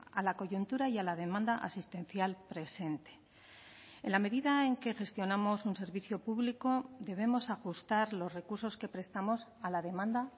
a la coyuntura y a la demanda asistencial presente en la medida en que gestionamos un servicio público debemos ajustar los recursos que prestamos a la demanda